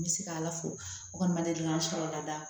N bɛ se ka ala fo o kɔni ma deli k'an sɔrɔ lada